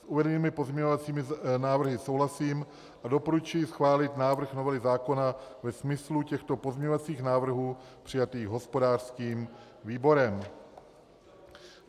S uvedenými pozměňovacími návrhy souhlasím a doporučuji schválit návrh novely zákona ve smyslu těchto pozměňovacích návrhů přijatých hospodářským výborem.